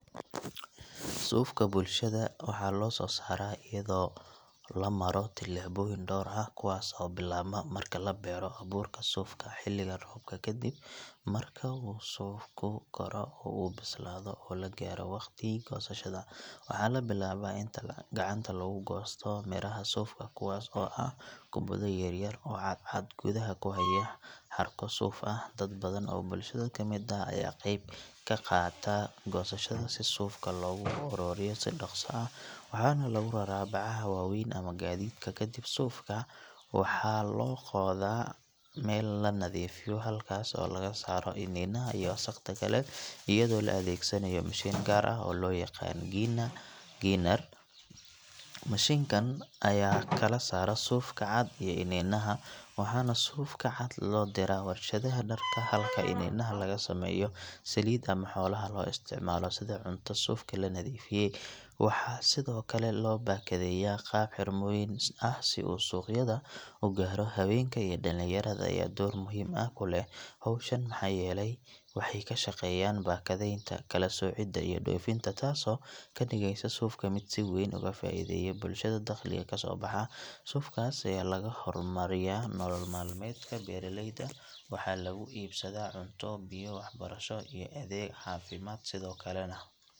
Suufka bulshada waxaa loo soo saara ayado la maro tilaboyin door ah oo bilaabma xiliga abuurka suufka, kadib marka uu suufka karo oo soo weynado oo lagaaro waqti goosashada, waxaa labilaaba in gacanta la goosto miraha suufka kuwaas oo ah kubadaha suufka oo gudaha kuleh cadcad suuf ah, dad badan oo bulshada ayaa qeyb kaqaata goosashada si suufka loogu aruuriyo si daqsi ah, waxaana lagu raraa bacaha waweyn iyo gadiidka, suufka waxaa loo qooda meel lanadiifiyo taas oo laga saaro wasaqda ayado la adeegsanaayo mashiin gaar ah, mashinkan ayaa kala saara suufka cad iyo ininaha, suufka cad loo diraa warshadaha darka halka ininaha loo isticmaalo saliid ama xoolaha lasiiyo, waxaa sido kale loo bakadeeya qaab xirmooyin ah si uu suuqyada ugaaro, habeenka iyo dakin yarada ayaa door muhiim ah kuleh howshan waxaa yeele waxeey kashaqeeyan bakadeenta, kala socida, iyo doofinta ayado ka digeysa suufka mid si weyn ugu faideeya, suufkaas ayaa laga hormariyaa daqaalaha, waxaa lagu iibsada cunto, biyo iyo wax barasho iyo cafimaad sido kalena.